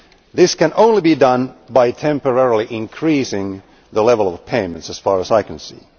This can only be done by temporarily increasing the level of payments as far as I can see.